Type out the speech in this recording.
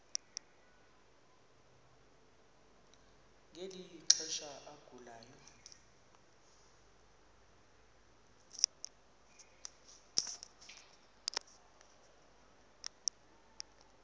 ngeli xesha agulayo